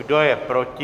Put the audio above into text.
Kdo je proti?